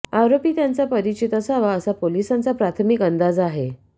आरोपी त्यांच्या परिचित असावा असा पोलिसांचा प्राथमिक अंदाज आहे